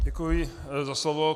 Děkuji za slovo.